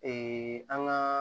an ka